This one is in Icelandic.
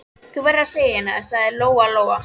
Þú verður að segja henni það, sagði Lóa Lóa.